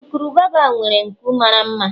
urukurubụba nwere nku mara mma